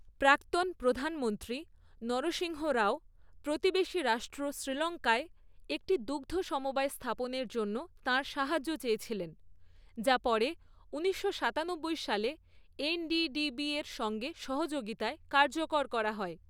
প্রাক্তন প্রধানমন্ত্রী নরসিংহ রাও প্রতিবেশী রাষ্ট্র শ্রীলঙ্কায় একটি দুগ্ধ সমবায় স্থাপনের জন্য তাঁর সাহায্য চেয়েছিলেন, যা পরে ঊনিশশো সাতানব্বই সালে এনডিডিবির সঙ্গে সহযোগিতায় কার্যকর করা হয়।